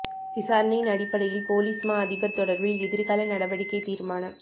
விசாரணையின் அடிப்டையில் பொலிஸ் மா அதிபர் தொடர்பில் எதிர்கால நடவடிக்கை தீர்மானம்